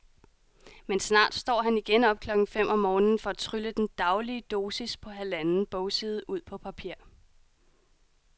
Men snart står han igen op klokken fem om morgenen for at trylle den daglige dosis på halvanden bogside ud på papir.